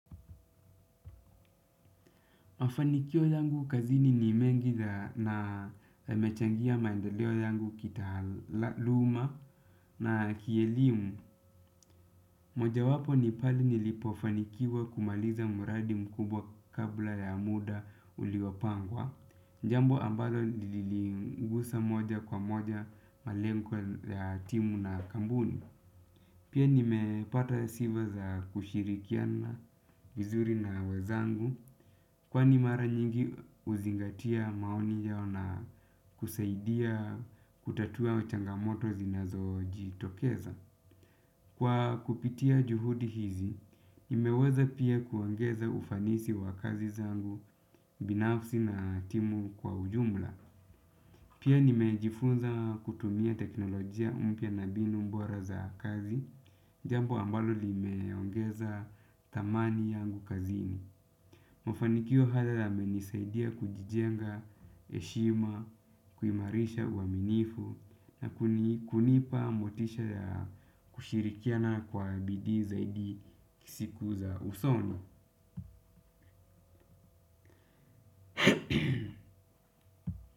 Mafanikio yangu kazini ni mengi na yamechangia maendeleo yangu kitaaluma na kielimu. Mojawapo ni pale nilipofanikiwa kumaliza mradi mkubwa kabla ya muda uliopangwa. Jambo ambalo liligusa moja kwa moja malengo ya timu na kampuni. Pia nimepata sifa za kushirikiana vizuri na wenzangu, kwani mara nyingi huzingatia maoni yao na kusaidia kutatua changamoto zinazojitokeza. Kwa kupitia juhudi hizi, nimeweza pia kuongeza ufanisi wa kazi zangu binafsi na timu kwa ujumla. Pia nimejifunza kutumia teknolojia mpya na mbinu bora za kazi, jambo ambalo limeongeza thamani yangu kazini. Mafanikio haya yamenisaidia kujijenga heshima, kuimarisha uaminifu, na kunipa motisha ya kushirikiana kwa bidii zaidi siku za usono.